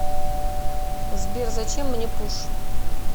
сбер зачем мне пуш